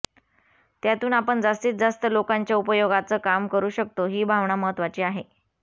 त्यातून आपण जास्तीत जास्त लोकांच्या उपयोगाचं काम करू शकतो ही भावना महत्त्वाची आहे